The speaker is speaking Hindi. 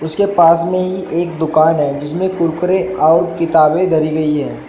उसके पास में ही एक दुकान है जिसमें कुरकुरे और किताबें धरी गई हैं।